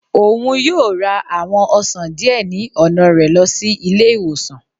Òún yóò ra àwọn ọsan diẹ ni ọna rẹ lọ si ile-iwosan.